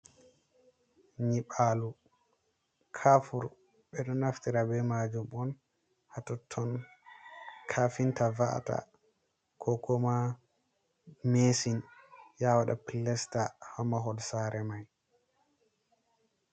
Nyiɓalu: Kafur ɓeɗo naftira be majum on hatotton. Kafinta va’ata kokuma mesin ya waɗa pilasta ha mahol sare mai.